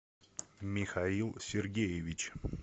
михаил сергеевич